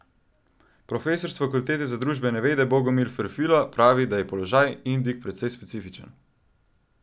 Profesor s Fakultete za družbene vede Bogomil Ferfila pravi, da je položaj Indijk precej specifičen.